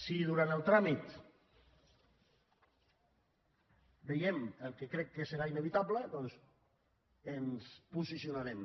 si durant el tràmit veiem el que crec que serà inevitable doncs ens posicionarem